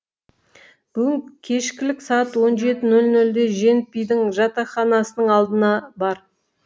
бүгін кешкілік сағат он жеті нөл нөлде женпидің жатақханасының алдына бар